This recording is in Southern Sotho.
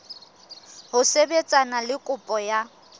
ho sebetsana le kopo ya